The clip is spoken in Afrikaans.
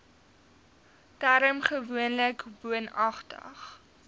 term gewoonlik woonagtig